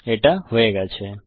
এটা হয়ে গেছে